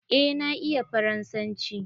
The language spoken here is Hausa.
Eh na iya faransanci.